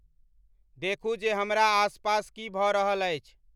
देखूँ जे हमरा आस पास की भ रहल अछि